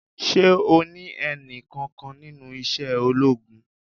Ṣé o ní ẹni kankan nínú iṣẹ́ ológun?